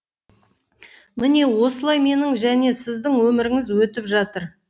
міне осылай менің және сіздің өміріңіз өтіп жатыр